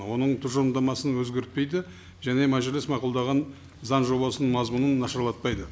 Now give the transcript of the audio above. оның тұжырымдамасын өзгертпейді және мәжіліс мақұлдаған заң жобасының мазмұнын нашарлатпайды